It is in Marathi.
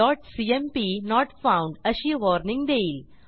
project1सीएमपी नोट फाउंड अशी वॉर्निंग देईल